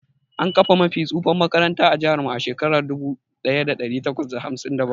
An kafa mafi tsufan makaranta ã jihar mu a Shekara dubu daya dari takwas da hamsin da bakwai.